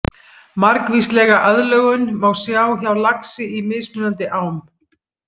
Margvíslega aðlögun má sjá hjá laxi í mismunandi ám.